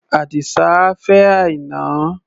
Àdìsá á fẹ́ Àìná.